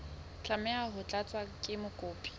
tlameha ho tlatswa ke mokopi